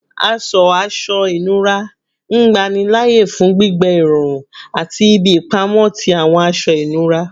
Aṣọ aṣọ inura ngbanilaaye fun gbigbẹ irọrun ati ibi ipamọ ti awọn aṣọ inura